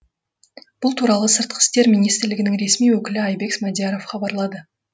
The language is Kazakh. бұл туралы сыртқы істер министрлігінің ресми өкілі айбек смадияров хабарлады